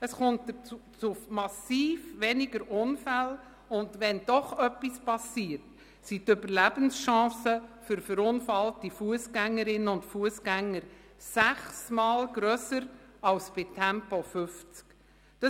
Es kommt zu massiv weniger Unfällen, und wenn doch etwas geschieht, sind die Überlebenschancen für verunfallte Fussgängerinnen und Fussgänger sechsmal grösser als bei Tempo 50.